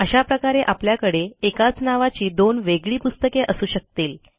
अशा प्रकारे आपल्याकडे एकाच नावाची दोन वेगळी पुस्तके असू शकतील